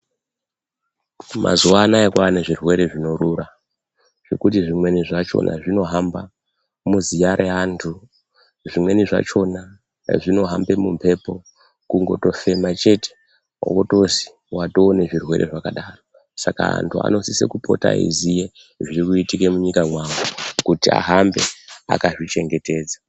Mazuwa anaya kwava nezvirwere zvinorura zvekuti zvimweni zvachona zvinohamba muziya reantu. Zvimweni zvacho zvinohambe mumhepo, kungotofema chete, wotozi watoo nezvirwere zvakadaro. Saka antu anosise kupota eiziye zviri kuitika mwunyika mwawo kuti ahambe akazvichengetedza.